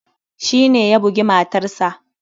Shi ne ya bugi matarsa.